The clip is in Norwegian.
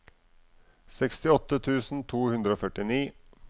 sekstiåtte tusen to hundre og førtini